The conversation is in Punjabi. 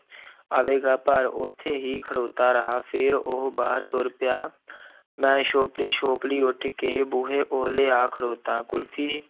ਆਵੇਗਾ ਪਰ ਉੱਥੇ ਹੀ ਖੜੋਤਾ ਰਿਹਾ ਫਿਰ ਉਹ ਬਾਹਰ ਤੁਰ ਪਿਆ ਮੈਂ ਛੋਪਲੀ-ਛੋਪਲੀ ਉੱਠ ਕੇ ਬੂਹੇ ਓਹਲੇ ਆ ਖੜੋਤਾ, ਕੁਲਫ਼ੀ